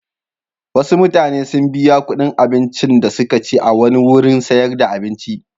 Wasu mutane sun biya kuɗin abincin da suka ci a wani wurin sayar da abinci.